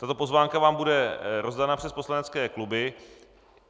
Tato pozvánka vám bude rozdána přes poslanecké kluby.